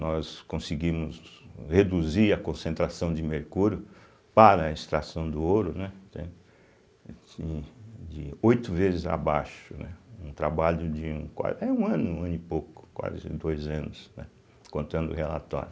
Nós conseguimos reduzir a concentração de mercúrio para a extração do ouro, né, entende de oito vezes abaixo, né, um trabalho de um qua é um ano, um ano e pouco, quase dois anos, né contando o relatório.